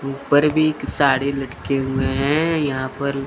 ऊपर भी साड़ी लटके हुए हैं यहां पर--